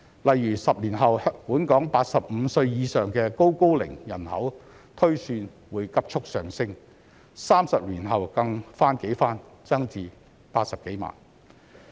例如10年後，本港85歲以上的"高高齡"人口推算會急速上升 ，30 年後更翻幾番增至80多萬人。